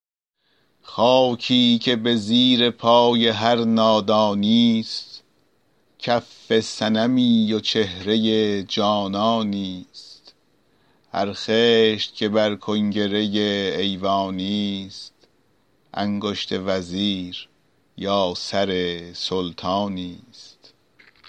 خاکی که به زیر پای هر نادانی ست کف صنمی و چهره جانانی ست هر خشت که بر کنگره ایوانی ست انگشت وزیر یا سر سلطانی ست